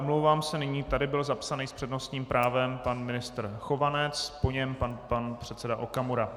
Omlouvám se, nyní tady byl zapsaný s přednostním právem pan ministr Chovanec, po něm pan předseda Okamura.